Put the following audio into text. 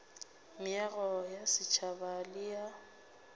meago ya setšhaba le ya